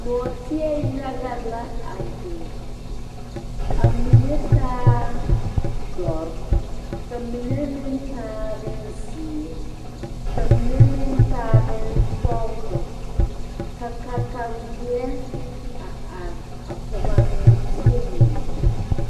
Nɔɔteɛ yaga la a beng a mene taa dori ka mene meng taa bung ziiri ka mene meng taa bung sɔglo ka katawei a arẽ a pɔg a nɔɔteɛ mene.